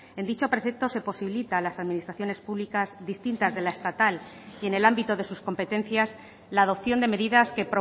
en dicho precepto se posibilita a las administraciones públicas distintas de la estatal y en el ámbito de sus competencias la adopción de medidas que